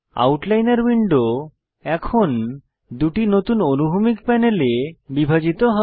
আউটলাইনর window এখন দুটি নতুন অনুভূমিক প্যানেলে বিভাজিত হয়